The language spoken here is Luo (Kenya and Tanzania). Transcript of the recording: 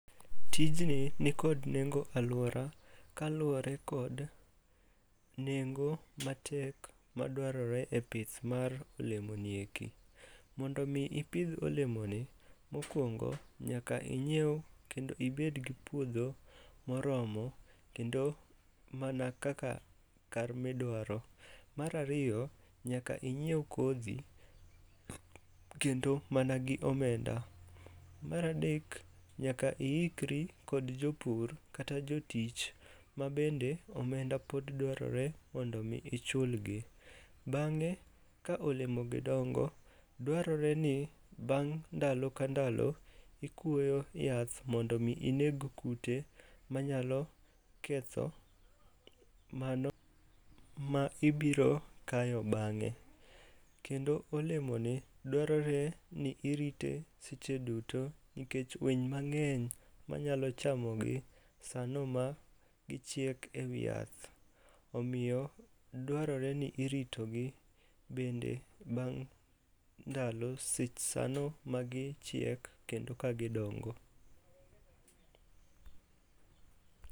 Tijni nikod nengo alwora kaluwre kod nengo matek madwarore e pith mar olemoni eki. Mondo omi ipidh olemoni, mokwongo nyaka inyiew kendo ibed gi puodho moromo kendo mana kaka kar midwaro. Mar ariyo, nyaka inyiew kodhi kendo mana gi omenda. Mar adek, nyaka iikri kod jopur kata jotich ma bende omenda pod dwarore m ondo omi ichulgi. Bang'e ka olemogi dongo, dwarore ni bang' ndalo ka ndalo ikwoyo yath mondo omi ineg kute manyalo ketho mano ma ibiro kayo bang'e. Kendo olemoni dwarore ni irite seche duto nikech winy mang'eny manyalo chamogi sano ma gichiek e wi yath, omiyo dwarore ni iritogi bende bang' ndalo sano magichiek kendo ka gidongo.